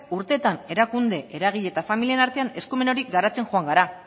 urteetan erakunde eragile eta familien artean eskumen hori garatzen joan gara